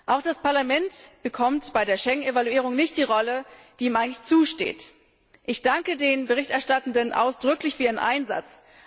Auch das Parlament bekommt bei der Schengen Evaluierung nicht die Rolle, die ihm eigentlich zusteht. Ich danke den Berichterstattenden ausdrücklich für ihren Einsatz.